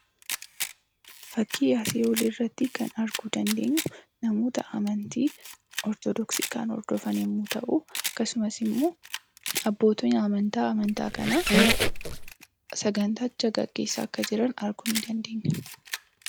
Fakkii asii olii irratti kan arguu dandeenyu, namoota amantii Ortodoksii kan hordofan yommuu ta'u, akkasumas immoo abbootni amantaa amantaa kanaa sagantacha geggeessaa akka jiran arguu ni dandeenya.